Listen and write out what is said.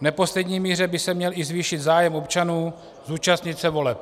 V neposlední míře by se měl i zvýšit zájem občanů, zúčastnit se voleb.